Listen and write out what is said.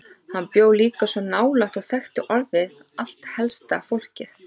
Hann bjó líka svo nálægt og þekkti orðið allt helsta fólkið.